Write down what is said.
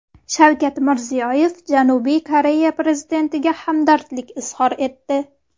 Shavkat Mirziyoyev Janubiy Koreya prezidentiga hamdardlik izhor etdi.